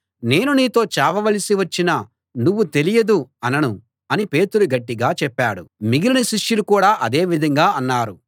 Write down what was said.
నేను నీతో చావవలసి వచ్చినా నువ్వు తెలియదు అనను అని పేతురు గట్టిగా చెప్పాడు మిగిలిన శిష్యులు కూడా అదే విధంగా అన్నారు